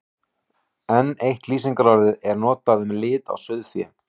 Enn eitt lýsingarorðið er notað um lit á sauðfé.